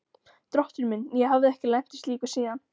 Drottinn minn, ég hafði ekki lent í slíku síðan.